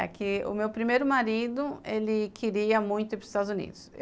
É que o meu primeiro marido, ele queria muito ir para os Estados Unidos.